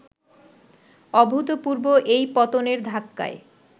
অভূতপূর্ব এই পতনের ধাক্কায়